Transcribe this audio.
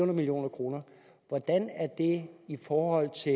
million kroner hvordan er det i forhold til